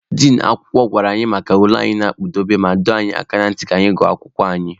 Din akwụkwọ gwara anyị maka ule anyị na-akpụdebe, ma dụọ anyị ọdụ ka anyị na-agụ akwụkwọ anyị.